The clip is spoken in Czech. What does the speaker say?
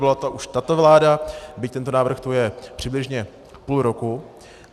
Byla to už tato vláda, byť tento návrh tu je přibližně půl roku.